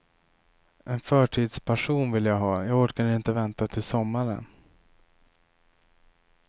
En förtidspassion vill jag ha, jag orkar inte vänta till sommaren.